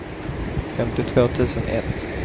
femtiotvå tusen ett